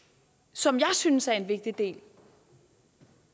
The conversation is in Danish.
som jeg synes er en vigtig del